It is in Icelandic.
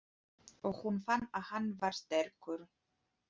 Og hún fann að hann var sterkur.